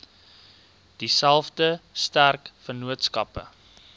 dieselfde sterk vennootskappe